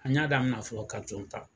An y'a damina fɔlɔ ka ton ta